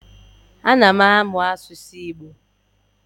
Ana m amụ asụsụ Igbo.